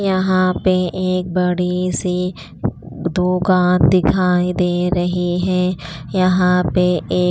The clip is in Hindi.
यहाँ पे एक बड़ी सी दुकान दिखाई दे रही है यहाँ पे एक--